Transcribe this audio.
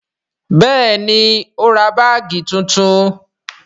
Bẹẹni, ó ra báàgì tuntun